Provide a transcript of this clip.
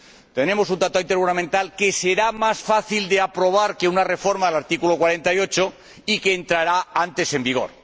Tenemos un tratado intergubernamental que será más fácil de aprobar que una reforma del artículo 48 y que entrará antes en vigor.